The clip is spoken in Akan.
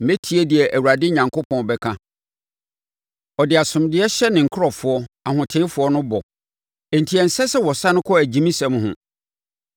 Mɛtie deɛ Awurade Onyankopɔn bɛka. Ɔde asomdwoeɛ hyɛ ne nkurɔfoɔ, ahotefoɔ no bɔ, enti ɛnsɛ sɛ wɔsane kɔ agyimisɛm ho.